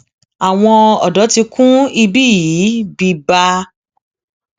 àwọn ọdọ ti kún ibí yìí bíbá